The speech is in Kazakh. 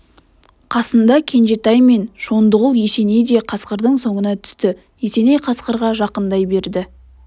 қасында кенжетай мен шондығұл есеней де қасқырдың соңына түсті есеней қасқырға жақындай берді